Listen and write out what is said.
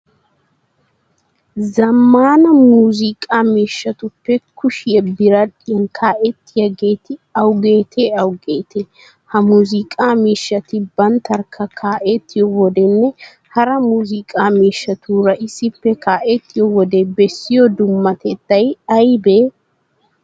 Zammaana muuziiqa miishshatuppe kushiya biradhdhiyan kaa'ettiyageeti awugeetee awugeetee? Ha muuziiqaa miishshati banttarkka kaa'ettiyo wodenne hara muuziiqaa miishshatuura issippe kaa'ettiyo wode bessiyo dummatettay aybee?